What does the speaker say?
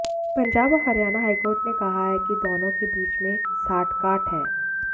पंजाब और हरियाणा हाईकोर्ट ने कहा है कि दोनों के बीच में साठगांठ है